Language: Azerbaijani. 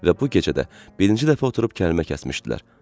Və bu gecədə birinci dəfə oturub kəlmə kəsmişdilər.